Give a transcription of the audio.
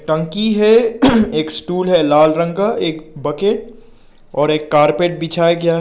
टंकी है एक स्टूल है लाल रंग का एक बकेट और एक कारपेट बिछाया गया है।